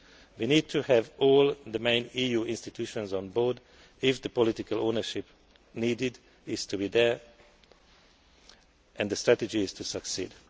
way. We need to have all the main EU institutions on board if the political ownership needed is to be there and the strategy is to succeed.